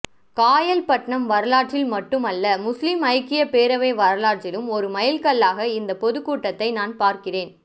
காயல்பட்டணம் வரலாற்றில் மட்டுமல்ல முஸ்லீம் ஐக்கிய பேரவை வரலாற்றிலும் ஒரு மைல்கல்லாக இந்த பொதுக் கூட்டத்தை நான் பார்க்கிறேன்